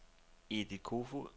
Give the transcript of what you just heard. Edith Koefoed